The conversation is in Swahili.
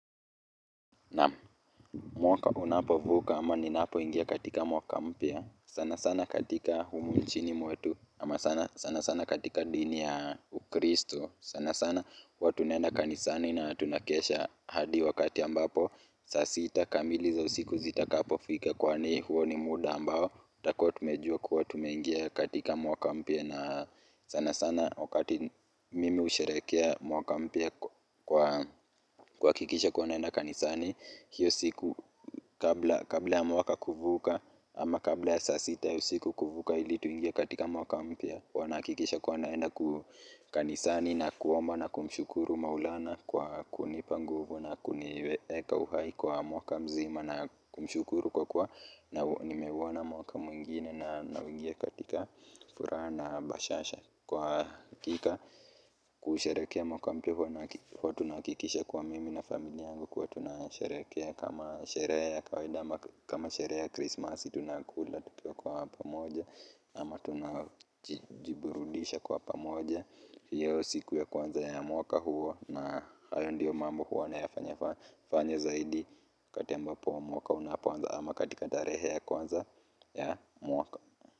Naam, mwaka unapovuka ama ninapoingia katika mwaka mpya, sana sana katika humu nchini mwetu ama sana sana katika dini ya Ukristo, sana sana watu wanaenda kanisani na tunakesha hadi wakati ambapo saa sita kamili za usiku zikifika, huo ni muda ambao tumejua kuwa tumeingia katika mwaka mpya. Sana sana wakati mimi usherehekea mwaka mpya kuhakikisha kuwa naenda kanisani hiyo siku kabla ya mwaka kuisha ama kabla ya saa sita hiyo siku kuisha ili tuingie katika mwaka mpya, nami kisha naenda kanisani kuomba na kumshukuru Maulana kwa kunipa nguvu na kuniweka hai kwa mwaka mzima na kumshukuru kwa kuwa nimeuona mwaka mwingine na naingia katika furaha na bashasha. Kwa hakika kusherehekea mwaka mpya huwa tunakikisha kwa mimi na familia yangu kwa tunasherehekea kama sherehe ya kawaida kama sherehe ya Krismasi tunakula tunapika kwa pamoja. Ama tunajiburudisha kwa pamoja hiyo siku ya kwanza ya mwaka huo na hayo ndiyo mambo huwa nayafanya zaidi katika wakati ambapo mwaka unaanza ama katika tarehe ya kwanza ya mwaka.